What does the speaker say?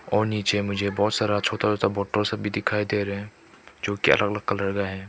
और नीचे मुझे बहोत सारा छोता छोता बॉटल्स भी दिखाई दे रहे हैं जो कि अलग अलग कलर में हैं।